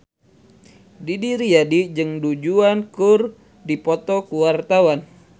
Didi Riyadi jeung Du Juan keur dipoto ku wartawan